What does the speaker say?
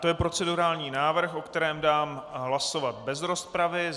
To je procedurální návrh, o kterém dám hlasovat bez rozpravy.